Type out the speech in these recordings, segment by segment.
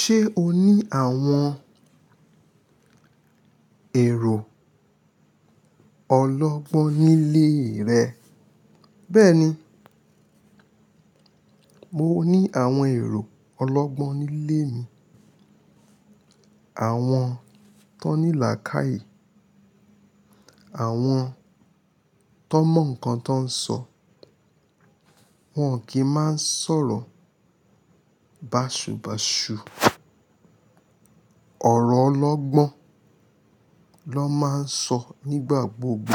Ṣé o ní àwọn èrò ọlọ́gbọ́n nílé rẹ? Bẹ́ẹ̀ni, mo ní àwọn èrò ọlọ́gbọ́n nílé mi. Àwọn tó ní làákàyè, àwọn tó n mọ nǹkan tó ń sọ. Wọn kì í máa ń sọ̀rọ̀ bàṣubàṣu. Ọ̀rọ̀ ọlọ́gbọ́n ló máa ń sọ nígbà gbogbo.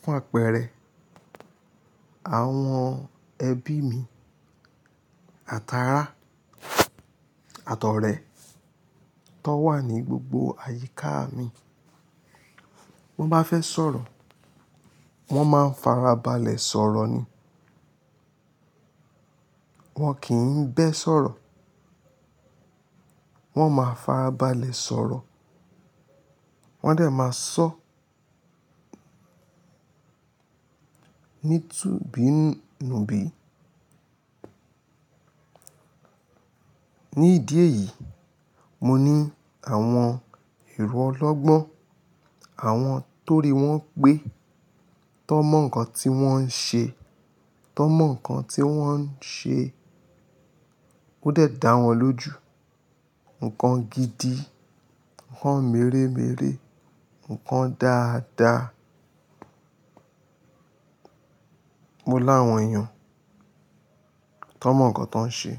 Fún àpẹẹrẹ, àwọn ẹbí mi, àtàrà àtọrẹ tó n wà ní gbogbo àyíká mi, wọ́n bá fẹ́ sọ̀rọ̀, wọ́n máa ń farabalẹ̀ sọ̀rọ̀ ni. Wọn kì í bẹ́ sọ̀rọ̀, wọ́n máa farabalẹ̀ sọ̀rọ̀. Wọ́n dè máa sọ ní itubinubi. Ní ìdí èyí, mo ní àwọn èrò ọlọ́gbọ́n, àwọn tó rí wọ́n pé tó n mọ nǹkan tí wọ́n ń ṣe, tó n mọ nǹkan tí wọ́n ń ṣe kó dè dá wọn lójú. Nǹkan gidi, nǹkan mèremère, nǹkan dáadáa. Mo láwọn èèyàn tó n mọ nǹkan tó ń ṣe.